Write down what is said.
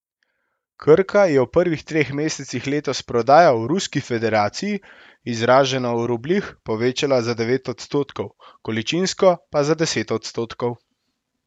Krka je v prvih treh mesecih letos prodajo v Ruski federaciji, izraženo v rubljih, povečala za devet odstotkov, količinsko pa za deset odstotkov.